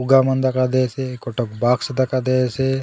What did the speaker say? फुग्गा मन दखा दयेसे गोटक बॉक्स दखा दयेसे।